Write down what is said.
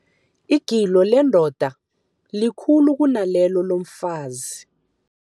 Igilo lendoda likhulu kunalelo lomfazi.